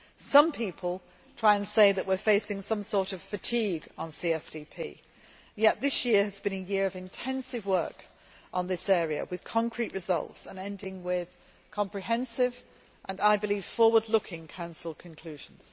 Some people try and say that we are facing some sort of fatigue on CSDP, yet this year has been a year of intensive work on this area, with concrete results, and ending with comprehensive and, I believe, forward looking Council conclusions.